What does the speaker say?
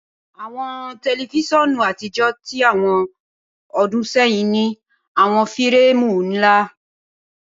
Awọn tẹlifisiọnu atijọ ti awọn ọdun sẹyin ni awọn fireemu nla.